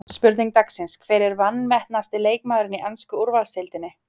Spurning dagsins: Hver er vanmetnasti leikmaðurinn í ensku úrvalsdeildinni?